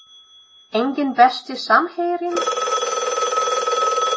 Enginn Besti samherjinn?